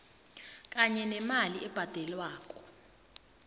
kanye nemali ebhadelwako